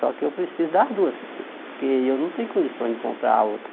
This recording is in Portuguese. Só que eu preciso das duas prefeito, porque eu não tenho condições de comprar a outra.